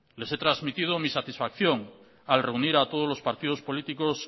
les he transmitido mi satisfacción al reunir a todos los partidos políticos